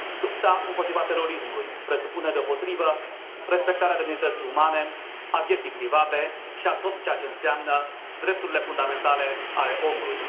Lupta împotriva terorismului presupune deopotrivă respectarea demnității umane, a vieții private și a tot ceea ce înseamnă drepturile fundamentale ale omului.